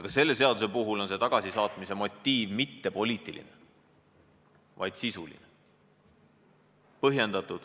Ka selle seaduse puhul polnud tagasisaatmise motiiv mitte poliitiline, vaid sisuline, põhjendatud.